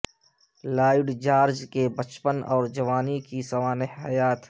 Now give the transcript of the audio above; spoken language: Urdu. لائیڈ جارج کی بچپن اور جوانی کی سوانح حیات